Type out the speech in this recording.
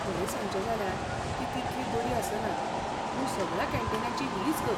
खरें सांगचें जाल्यार, ती तितली बरी आसना, पूण सगळ्या कॅन्टीनांची हीच गत.